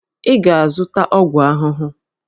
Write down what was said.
Ị ga-azụta ọgwụ ahụhụ!